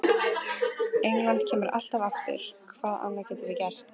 England kemur alltaf aftur, hvað annað getum við gert?